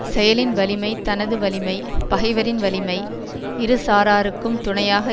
செயலின் வலிமை தனது வலிமை பகைவரின் வலிமை இருசாராருக்கும் துணையாக